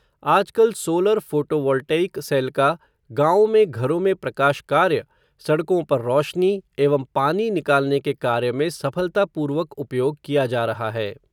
आजकल solar photovoltaic cell का, गाँवों में घरों में प्रकाश कार्य, सड़कों पर रोशनी एवं पानी निकालने के कार्य में सफलतापूर्वक उपयोग किया जा रहा है.